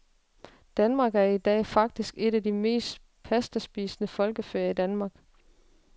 Danmark er i dag faktisk et af de mest pastaspisende folkefærd i verden.